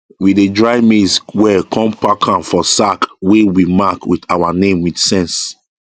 we dey dry maize well com pack am for sack wey we mark with our name with sense